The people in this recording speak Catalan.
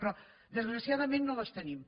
però desgraciadament no les tenim